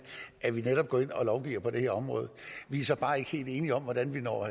at vi netop går ind og lovgiver på det her område vi er så bare ikke helt enige om hvordan man når